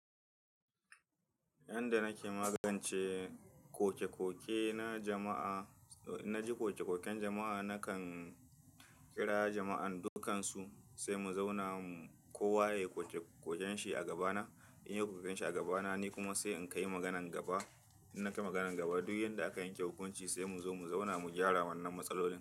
Yanda nake magance ƙoke-ƙoke na jama'a, eh na ji ƙoke-ƙoken jama'a, nakan kira jama'an dukansu sai mu zauna kowa ya yi ƙoke-ƙoken shi a gabana. In yayi ƙoke-ƙoken shi a gabana ni kuma sai in kaai maganan gaba. In nakai maganan gaba duk yanda aka yanke hukunci sai mu zo mu zauna mu gyara wannan matsalolin.